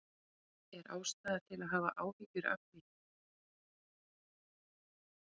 Er ástæða til að hafa áhyggjur af því?